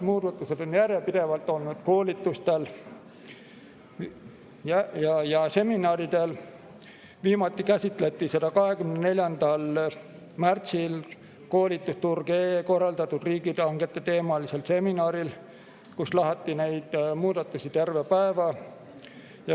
Muudatusi on järjepidevalt tutvustatud koolitustel ja seminaridel, viimati käsitleti neid 24. märtsil koolitusturg.ee korraldatud riigihanketeemalisel seminaril, kus lahati neid muudatusi terve päeva.